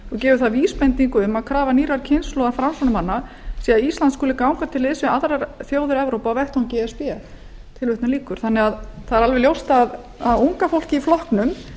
gefur það vísbendingu um að krafa nýrrar kynslóðar framsóknarmanna sé að ísland skuli ganga til liðs við aðrar þjóðir evrópu á vettvangi e s b það er því alveg ljóst að unga fólkið í flokknum